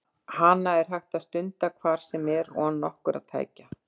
Hana er hægt að stunda hvar sem er og án nokkurra tækja.